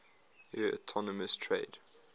eu autonomous trade